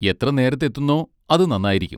എത്ര നേരത്തെത്തുന്നോ അത് നന്നായിരിക്കും.